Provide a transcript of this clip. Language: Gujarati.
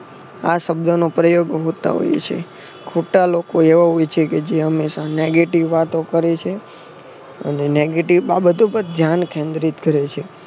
આ શબ્દનો પ્રયોગ હોતા હોય છે. ખોટા લોકો એવા હોય છે કે જે હંમેશા negative વાતો કરે છે. અને negative બાબતો પણ ધ્યાન કેન્દ્રિત કરે છે.